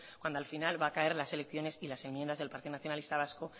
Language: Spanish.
cuando al final va a caer la selecciones y las enmiendas del partido nacionalista vasco